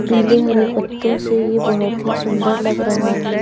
पीले हरे पत्तों से ये बहोत ही सुंदर लग रहा है।